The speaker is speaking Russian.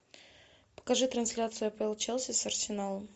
покажи трансляцию апл челси с арсеналом